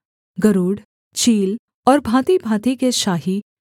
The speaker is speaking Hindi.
गरूड़ चील और भाँतिभाँति के शाही